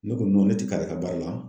Ne ko ne ti k'ale ka baara la